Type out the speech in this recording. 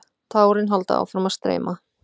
Tárin halda áfram að streyma.